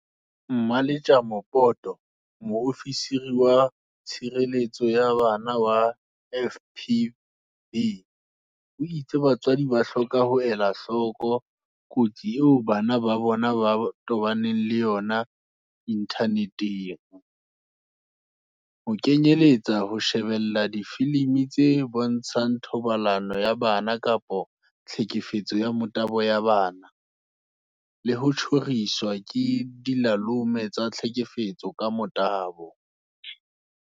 Mmaletjema Poto, Moofisiri wa Tshireletso ya Bana wa FPB, o itse batswadi ba hloka ho ela hloko kotsi eo bana ba bona ba tobanang le yona inthaneteng, ho kenyeletsa ho shebella difilimi tse bontshang thobalano ya bana kapa tlhekefetso ya motabo ya bana, le ho tjhoriswa ke dilalome tsa tlhekefetso ka motabo.